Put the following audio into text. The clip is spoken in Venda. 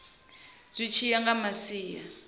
zwi tshi ya nga masia